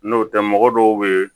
N'o tɛ mɔgɔ dɔw bɛ yen